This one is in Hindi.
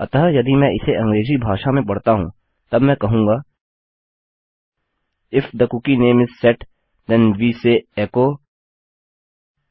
अतः यदि मैं इसे अंग्रेज़ी भाषा में पढता हूँ तब मैं कहूँगा if the cookie name is set then we say echo